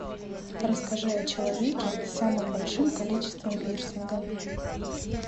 расскажи о человеки с самым большим количеством пирсинга